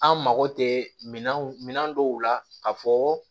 An mako tɛ minan dɔw la ka fɔ